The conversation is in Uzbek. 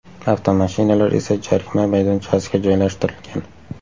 Avtomashinalar esa jarima maydonchasiga joylashtirilgan.